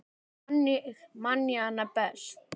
Þannig man ég hana best.